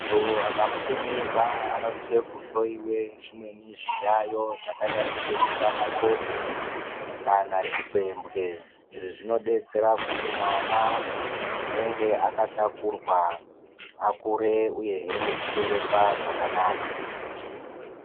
Muntu akabate mimba anosise kuhloiwe zvimweni zviyaiyo zvakadai ngeshuramatongo, kana chipembwe. Izvi zvinodetsera kuti mwana unenge akatakurwa, akure uyehe nekuberekwa mune zvakanaka.